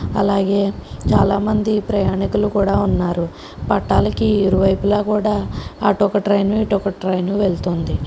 అలాగే చాలామంది ప్రయాణికులు కూడా ఉన్నారు పట్టాలకు ఇరువైపులా కూడా అటు ఒక ట్రైన్ ఇటు ఒకటి ట్రైన్ వెళుతుంది.